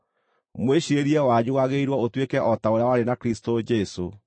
Mwĩciirĩrie wanyu wagĩrĩirwo ũtuĩke o ta ũrĩa warĩ na Kristũ Jesũ: